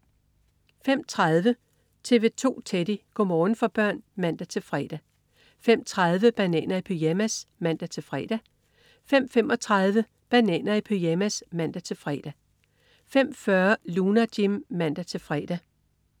05.30 TV 2 Teddy. Go' morgen for børn (man-fre) 05.30 Bananer i pyjamas (man-fre) 05.35 Bananer i pyjamas (man-fre) 05.40 Lunar Jim (man-fre)